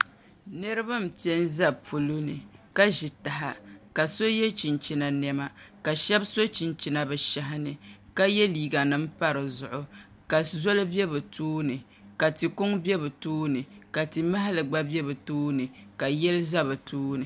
Nirabq n piɛ n ʒɛ polo ni ka ʒi taha ka so yɛ chinchini niɛma ka shab so chinchina bi shahi ni ka yɛ liiga nim pa dizuɣu ka zoli bɛ bi tooni ka ti kuŋ bɛ bi tooni ka ti mahali gba bɛ bi tooni ka yili ʒɛ bi tooni